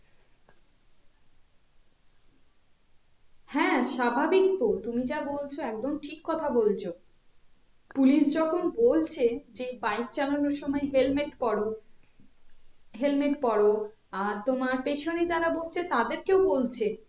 হ্যাঁ স্বাভাবিক তো তুমি যা বলছো একদম ঠিক কথা বলছো police যখন বলছে যে bike চালানোর সময় helmet পরো helmet পরো আর তোমার পেছনে যারা বসছে তাদেরকেও বলছে